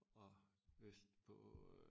Og vestpå øh